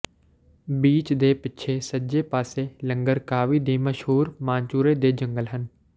beach ਦੇ ਪਿੱਛੇ ਸੱਜੇ ਪਾਸੇ ਲੰਗਕਾਵੀ ਦੇ ਮਸ਼ਹੂਰ ਮਾਨਚੂਰੇ ਦੇ ਜੰਗਲ ਹਨ